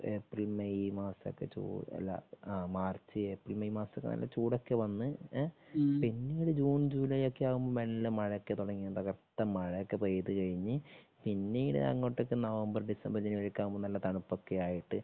April May മാസോക്കെ അല്ല ആ മാർച്ച് ഏപ്രിൽ മെയ് മസമൊക്കെ നല്ല ചൂടൊക്കെ വന്ന് പിന്നെ ഒരു ജൂണ് ജൂലൈ ഒക്കെ ആകുമ്പോ മെല്ലെ മഴ ഒക്കെ തുടങ്ങി തകർത്ത് മഴ ഒക്കെ പെയ്ത് കഴിഞ്ഞ് പിന്നീട് അങ്ങോടെക്കു നവംബർ ഡിസംബർ ജനുവരി ആകുമ്പോ നല്ല തണുപ്പ് ഒക്കെ ആയിട്ട്